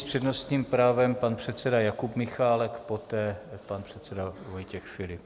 S přednostním právem pan předseda Jakub Michálek, poté pan předseda Vojtěch Filip.